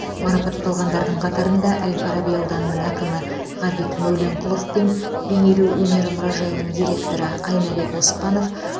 марапатталғандардың қатарында әл фараби ауданының әкімі ғабит мәуленқұлов пен бейнелеу өнері мұражайының директоры айнабек оспанов